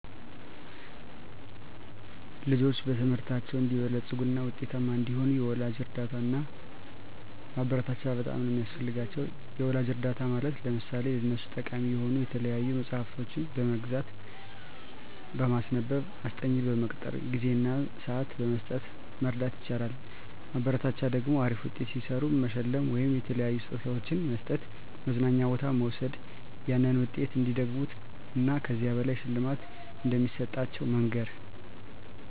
ልጆች በትምህርታቸው አንዲበለጽጉ እና ውጤታማ እንዲሆኑ የወላጅ እርዳታ እና ማበረታቻ በጣም ነው ሚያስፈልጋቸው። የወላጅ እርዳታ ማለት ለምሳሌ ለነሱ ጠቃሚ የሆኑ የተለያዩ መፅሐፍቶችን በመግዛት፣ በማስነበብ፣ አስጠኝ በመቅጠር፣ ጊዜ እና ስዓት በመስጠት መርዳት ይቻላል። ማበረታቻ ደግሞ አሪፍ ውጤት ሲሰሩ በመሸለም ወይም የተለያዩ ስጦታዎችን በመስጠት፣ መዝናኛ ቦታ በመውሰድ ያንን ውጤት እንዲደግሙት እን ከዚህ በላይ ሽልማት እንደሚሰጣቸው መንገር